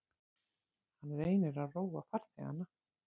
Hann reynir að róa farþegana.